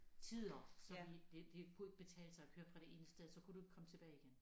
Tider så vi det det kunne ikke betale sig at køre fra det ene sted så kunne du ikke komme tilbage igen